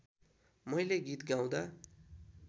मैले गीत गाउँदा